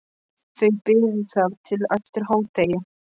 Þau biðu þar til eftir hádegi.